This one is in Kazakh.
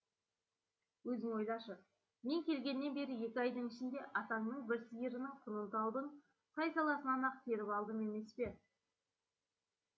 өзің ойлашы мен келгеннен бері екі айдың ішінде атаңның бір сиырының құнын таудың сай саласынан ақ теріп алдым емес пе